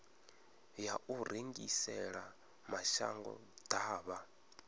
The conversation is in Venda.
ya u rengisela mashango ḓavha